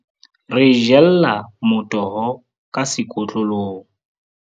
Re jella motoho ka sekotlolong.